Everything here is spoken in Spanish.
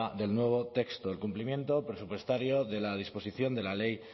del nuevo texto el cumplimiento presupuestario de la disposición de la ley